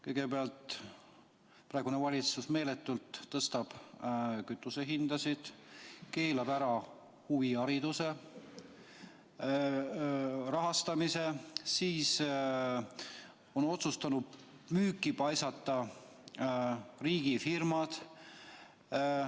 Kõigepealt, praegune valitsus tõstab meeletult kütusehinda, keelab ära huvihariduse rahastamise, on otsustanud müüki paisata riigifirmad.